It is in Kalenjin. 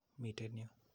Miten yu.